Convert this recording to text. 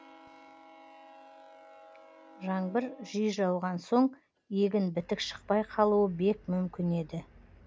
жаңбыр жиі жауған соң егін бітік шықпай қалуы бек мүмкін еді